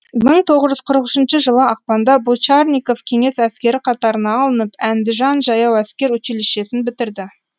мың тоғыз жүз қырық жетінші жылы ақпанда бочарников кеңес әскері қатарына алынып әндіжан жаяу әскер училищесін бітірді